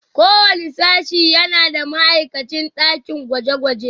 Kowane sashe yana da ma'aikacin dakin gwaje-gwaje.